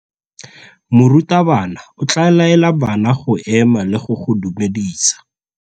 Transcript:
Morutabana o tla laela bana go ema le go go dumedisa.